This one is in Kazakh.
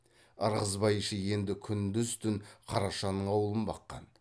ырғызбай іші енді күндіз түн қарашаның аулын баққан